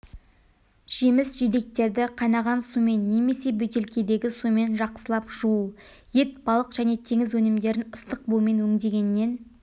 жеміс-жидектерді қайнаған сумен немесе бөтелкедегі сумен жақсылап жуу ет балық және теңіз өнімдерін ыстық бумен өңдегеннен